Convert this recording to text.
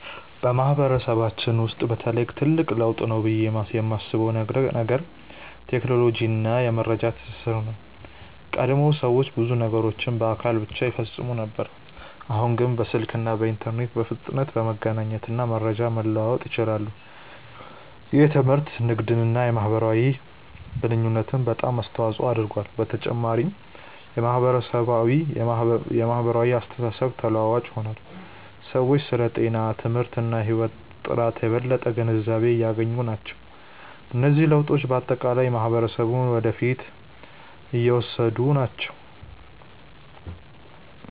በማህበረሰባችን ውስጥ በተለይ ትልቅ ለውጥ ነው ብዬ የማስበው ነገር ቴክኖሎጂ እና የመረጃ ትስስር ነው። ቀድሞ ሰዎች ብዙ ነገሮችን በአካል ብቻ ይፈጽሙ ነበር፣ አሁን ግን በስልክ እና በኢንተርኔት በፍጥነት መገናኘት እና መረጃ መለዋወጥ ይችላሉ። ይህ ትምህርትን፣ ንግድን እና የማህበራዊ ግንኙነትን በጣም አስተዋፅኦ አድርጓል። በተጨማሪም የማህበራዊ አስተሳሰብ ተለዋዋጭ ሆኗል፤ ሰዎች ስለ ጤና፣ ትምህርት እና የህይወት ጥራት የበለጠ ግንዛቤ እያገኙ ናቸው። እነዚህ ለውጦች በአጠቃላይ ማህበረሰቡን ወደ ፊት እየወሰዱ ናቸው።